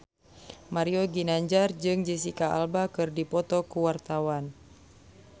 Mario Ginanjar jeung Jesicca Alba keur dipoto ku wartawan